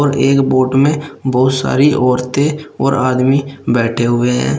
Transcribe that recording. और एक बोट में बहुत सारी औरतें और आदमी बैठे हुए हैं।